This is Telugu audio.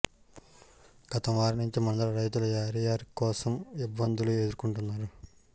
గత వారం నుంచి మండల రైతులు యూరియా కోసం ఇబ్బందులు ఎదుర్కొంటున్నారు